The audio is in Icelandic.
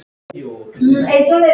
Örn, bauðstu henni í bíó?